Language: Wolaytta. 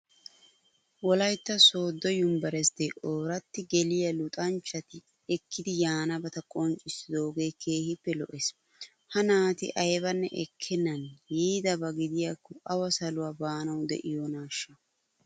Wolaytta sooddo yunveresttee ooratti geliya luxanchchati ekkidi yaanabata qonccissidoogee keehippe lo"ees. Ha naati aybanne ekkennan yiidaba gidiyakko awu saluwa baanawu de'iyonaashsha!